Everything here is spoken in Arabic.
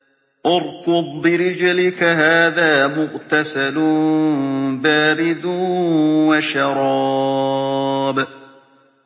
ارْكُضْ بِرِجْلِكَ ۖ هَٰذَا مُغْتَسَلٌ بَارِدٌ وَشَرَابٌ